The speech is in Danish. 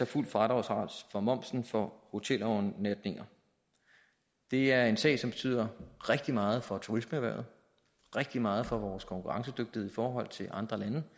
fuld fradragsret af momsen for hotelovernatninger det er en sag som betyder rigtig meget for turismeerhvervet rigtig meget for vores konkurrencedygtighed i forhold til andre lande